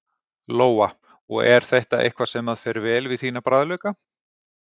Lóa: Og er þetta eitthvað sem að fer vel við þína bragðlauka?